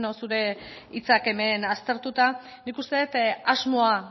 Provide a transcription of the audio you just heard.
zure hitzak hemen aztertuta nik uste dut asmoa